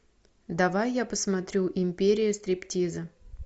давай я посмотрю империя стриптиза